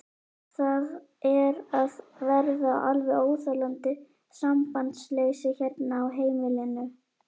Það er að verða alveg óþolandi sambandsleysi hérna á heimilinu!